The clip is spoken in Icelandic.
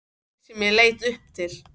Þig sem ég leit upp til.